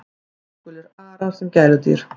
Blágulir arar sem gæludýr